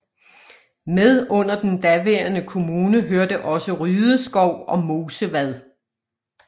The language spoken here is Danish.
Med under den daværende kommune hørte også Rydeskov og Mosevad